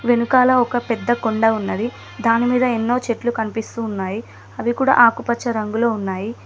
వెనకాల ఒక పేద కొండ ఉన్నది దాని మీద ఎన్నో చెట్లు కనిపిస్తున్నాయి అవి కూడా ఆకు పచ్చ రంగులో ఉన్నాయి.